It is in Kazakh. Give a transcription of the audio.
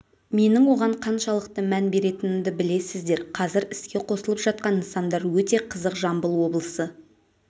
менің оған қаншалықты мән беретінімді білесіздер қазір іске қосылып жатқан нысандар өте қызық жамбыл облысы